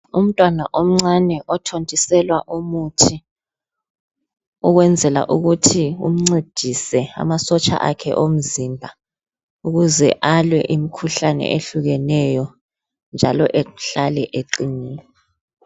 Umntwana omncane othontiselwa umuthi ukuzwenzela ukuthi umncedise amasotsha akhe omzimba ukuze alwe imikhuhlane ehlukeneyo njalo ahlale eqinile.